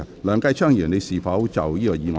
梁繼昌議員，你是否就這項議案發言？